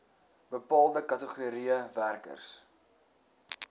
bepaalde kategorieë werkers